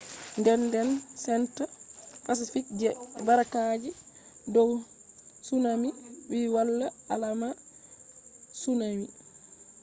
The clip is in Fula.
denden senta pacific je barraaki dow tsunami vi wala alaama tsunaami